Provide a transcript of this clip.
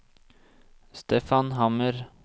Stefan Hammer